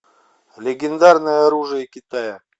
легендарное оружие китая